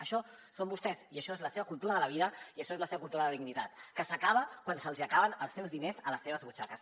això són vostès i això és la seva cultura de la vida i això és la seva cultura la dignitat que s’acaba quan se’ls acaben els seus diners a les seves butxaques